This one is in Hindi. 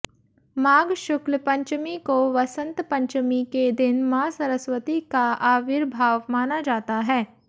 माघ शुक्ल पंचमी को वसंत पंचमी के दिन मां सरस्वती का आविर्भाव माना जाता है